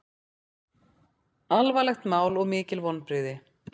Alvarlegt mál og mikil vonbrigði